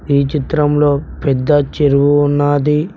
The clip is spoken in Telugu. ఈ చిత్రంలో పెద్ద చెరువు ఉన్నాది.